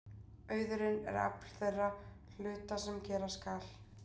Auðurinn er afl þeirra hluta sem gera skal.